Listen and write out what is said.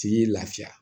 T'i lafiya